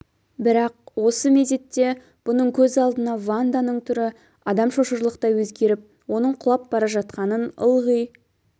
бірақ осы мезетте бұның көз алдына ванданың түрі адам шошырлықтай өзгеріп оның құлап бара жатқанын ылғи